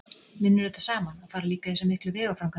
Vinnur þetta saman, að fara líka í þessa miklu vegaframkvæmdir?